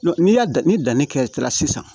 N'i y'a dan ni danni kɛla sisan